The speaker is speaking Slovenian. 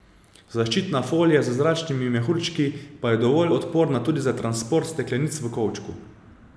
Zaščitna folija z zračnimi mehurčki pa je dovolj odporna tudi za transport steklenic v kovčku.